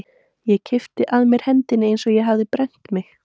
Ég kippti að mér hendinni eins og ég hefði brennt mig.